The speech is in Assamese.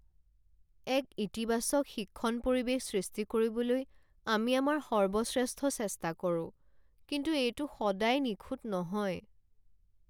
এক ইতিবাচক শিক্ষণ পৰিৱেশ সৃষ্টি কৰিবলৈ আমি আমাৰ সৰ্বশ্ৰেষ্ঠ চেষ্টা কৰোঁ, কিন্তু এইটো সদায় নিখুঁত নহয়।